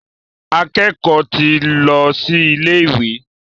Akẹ́kọ̀ọ́ ti ń lọ sí ilé ìwé.